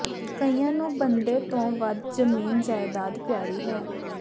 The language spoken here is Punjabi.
ਕਈਆਂ ਨੂੰ ਬੰਦੇ ਤੋਂ ਵੱਧ ਜ਼ਮੀਨ ਜਾਇਦਾਦ ਪਿਆਰੀ ਹੈ